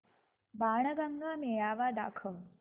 बाणगंगा मेळावा दाखव